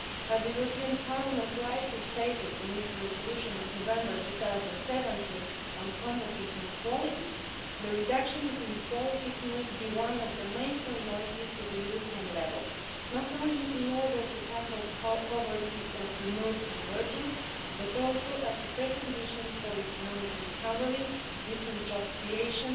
As Parliament rightly stated in its resolution of November 2017 on combating inequalities, the reduction of inequalities must be one of the main priorities at European level, not only in order to tackle poverty or promote convergence but also as a precondition for economic recovery, decent job creation,